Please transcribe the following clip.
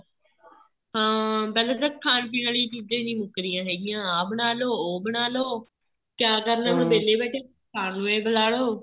ਹਾਂ ਪਹਿਲਾਂ ਤਾਂ ਖਾਣ ਪੀਣ ਆਲੀਆਂ ਚੀਜ਼ਾਂ ਹੀ ਨਹੀਂ ਮੁੱਕ ਰਹੀਆਂ ਹੈਗੀਆਂ ਆ ਬਣਾਲੋ ਉਹ ਬਣਾਲੋ ਕਿਆ ਕਰਨਾ ਏ ਵਿਹਲੇ ਬੈਠੇ ਕੁੱਝ ਖਾਣ ਨੂੰ ਏ ਬਣਾ ਲਓ